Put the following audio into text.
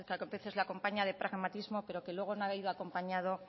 que a veces le acompaña de pragmatismo pero que luego no ha ido acompañado